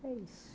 É isso.